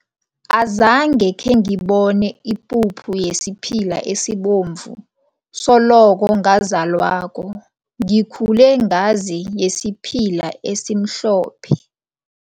Azange khengibone ipuphu yesiphila esibomvu, soloko ngazalwako. Ngikhulume ngazi yesiphila esimhlophe.